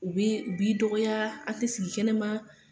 U b'i, u b'i dɔgɔya a te sigi kɛnɛma